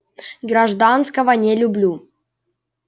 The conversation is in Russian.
гражданского не люблю